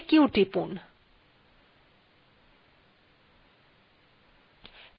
এখান থেকে বেরিয়ে আসতেহলে q টিপতে হবে